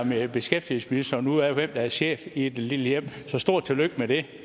beskæftigelsesministeren ud af hvem der er chef i det lille hjem så stort tillykke med det